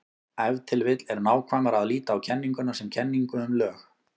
Ef til vill er nákvæmara að líta á kenninguna sem kenningu um lög.